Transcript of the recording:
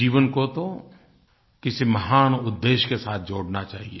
जीवन को तो किसी महान उद्देश्य के साथ जोड़ना चाहिए